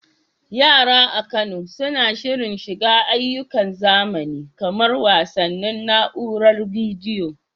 Yara a Kano suna shirin shiga ayyukan zamani kamar wasannin na'uarar bidiyo.